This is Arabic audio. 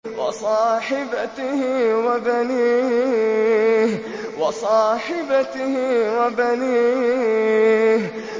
وَصَاحِبَتِهِ وَبَنِيهِ